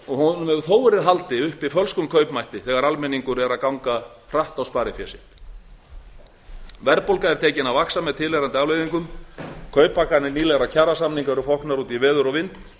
honum hefur þó verið haldið upp fölskum kaupmætti þegar almenningur er að ganga hratt á sparifé sitt verðbólga er tekin að vaxa með tilheyrandi afleiðingum kauptaxtar nýlegra kjarasamninga eru foknar út í veður og vind